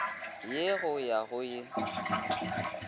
ye go ya go ye